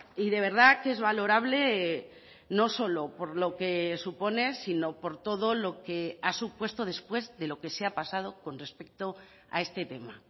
y de verdad que es valorable no solo por lo que supone sino por todo lo que ha supuesto después de lo que se ha pasado con respecto a este tema